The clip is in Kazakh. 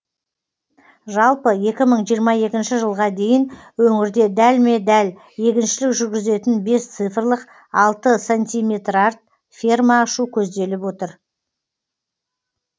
жалпы екі мың жиырма екінші жылға дейін өңірде дәлме дәл егіншілік жүргізетін бес цифрлық алты сантиметрарт ферма ашу көзделіп отыр